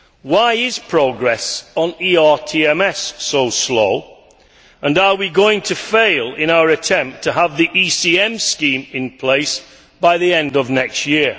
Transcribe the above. Why is progress on ERTMS so slow and are we going to fail in our attempt to have the ECM scheme in place by the end of next year?